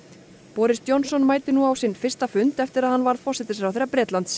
boris Johnson mætir nú á sinn fyrsta fund eftir að hann varð forsætisráðherra Bretlands